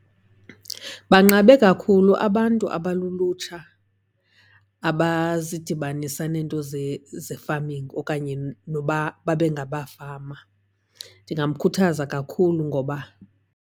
Banqabe kakhulu abantu abalulutsha abazidibanisa neento ze-farming okanye noba babe ngabafama. Ndingamkhuthaza kakhulu ngoba.